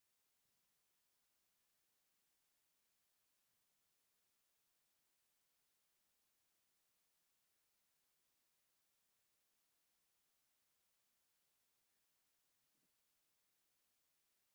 ጋባን ዝገበረት መምህር ኣብ ብላክቦርድ ተምህር ኣላ፡፡ ኣብቲ ክፍሊ ዘለዉ ተመሃሮ ይከታተልዋ ኣለዉ፡፡ ሞያ መምህርነት ክብሩ እስካብ ክንደየናይ ዝኣክል እዩ?